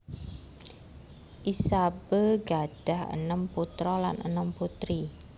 Isabeau gadhah enem putra lan enem putri